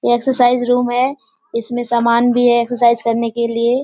यह exercise room है इसमें समान भी है एक्सर्साइज़ करने के लिए।